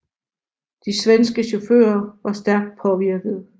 De svenske chauffører var stærkt påvirkede